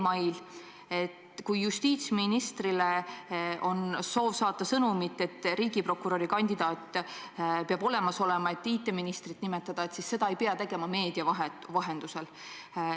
Kui on soov saata justiitsministrile sõnumit, et riigiprokuröri kandidaat peab olemas olema, et IT-ministrit nimetada, siis seda ei pea tegema meedia vahendusel.